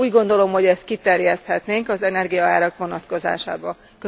Úgy gondolom, hogy ezt kiterjeszthetnénk az energiaárak vonatkozásában is.